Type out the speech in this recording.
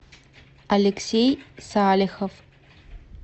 алексей салихов